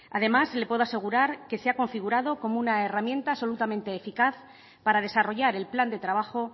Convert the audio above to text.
además le puedo asegurar que se ha configurado como una herramienta absolutamente eficaz para desarrollar el plan de trabajo